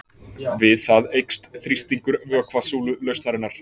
við það eykst þrýstingur vökvasúlu lausnarinnar